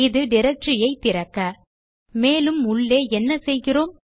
இது டைரக்டரி ஐ திறக்க மேலும் உள்ளே என்ன செய்கிறோம்